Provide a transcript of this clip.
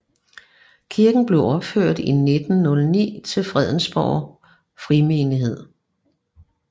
Kirken blev opført i 1909 til Frederiksborg Frimenighed